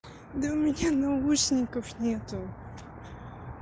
да у меня наушников нет